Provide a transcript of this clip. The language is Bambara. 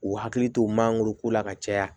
U hakili to mangoro ko la ka caya